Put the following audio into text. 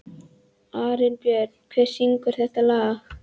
Arinbjörn, hver syngur þetta lag?